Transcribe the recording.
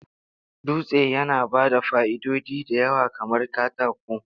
Dutsen yana ba da fa'idodi da yawa kamar katako.